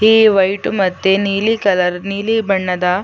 ಈ ವೈಟು ಮತ್ತೆ ನೀಲಿ ಕಲರ್ ನೀಲಿ ಬಣ್ಣದ --